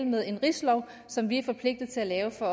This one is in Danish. med en rigslov som vi er forpligtet til at lave for